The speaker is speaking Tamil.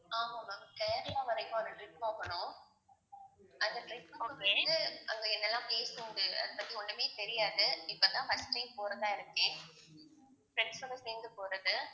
ஆமா ma'am கேரளா வரைக்கும் ஒரு trip போகணும் அந்த trip வந்து அங்க என்ன எல்லாம் place உண்டு அதைப் பற்றி ஒண்ணுமே தெரியாது இப்பதான் first time போறதா இருக்கேன் friends சோட சேர்ந்து போறது